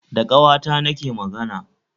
Da ƙawata na ke magana